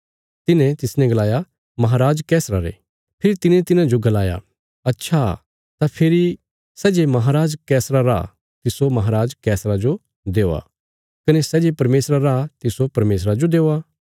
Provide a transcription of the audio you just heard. तिन्हे तिसने गलाया रोम रे बादशाह रा फेरी यीशुये तिन्हाजो गलाया अच्छा तां फेरी सै जे बादशाह रा तिस्सो बादशाह जो देआ कने सै जे परमेशरा रा तिस्सो परमेशरा जो देआ